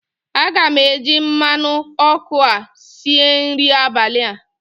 Aga m eji mmanụ ọkụ a si nri abalị a